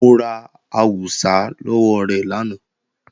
Mo ra àwùsá lọ́wọ́ rẹ̀ lánàá